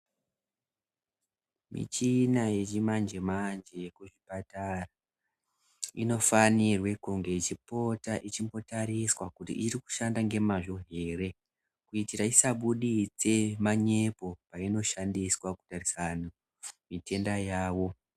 Muchina yechimanjemanje kuchipatara inofanirwa kunge ichipota ichimbotariswa kuti iri kushanda nemzvo ere kuti isabuditse manyepo painoishandiswa kutarise antu igendaa yavo.